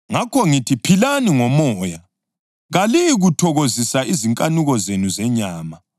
Ngakho ngithi philani ngoMoya, kaliyikuthokozisa izinkanuko zenu zenyama.